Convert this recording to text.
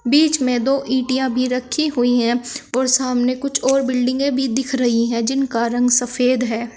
बीच में दो इटियां या भी रखी हुई है और सामने कुछ और बिल्डिंगे भी दिख रही है जिनका रंग सफेद है।